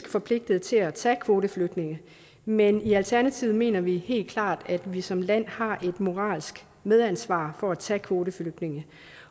forpligtet til at tage kvoteflygtninge men i alternativet mener vi helt klart at vi som land har et moralsk medansvar for at tage kvoteflygtninge